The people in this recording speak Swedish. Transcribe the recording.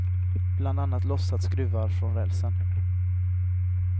Bland annat lossat skruvar från rälsen.